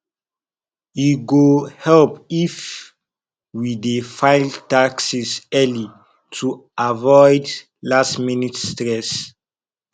e go help if we dey file taxes early to avoid lastminute stress